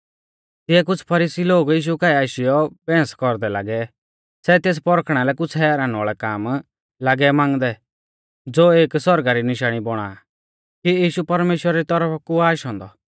तिऐ कुछ़ फरीसी लोग यीशु काऐ आशीयौ बैहंस कौरदै लागै सै तेस परखणा लै कुछ़ हैरान वाल़ै काम लागै मांगदै ज़ो एक सौरगा री निशाणी बौणा कि यीशु परमेश्‍वरा री तौरफा कु आ आशौ औन्दौ